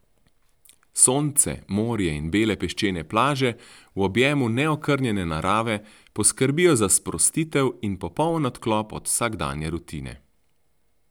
Sonce, morje in bele peščene plaže v objemu neokrnjene narave poskrbijo za sprostitev in popoln odklop od vsakdanje rutine.